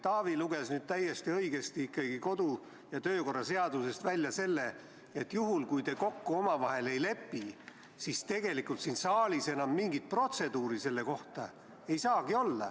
Taavi luges täiesti õigesti kodu- ja töökorra seadusest välja selle, et juhul, kui te omavahel kokku ei lepi, siis tegelikult siin saalis enam mingit protseduuri selle kohta olla ei saagi.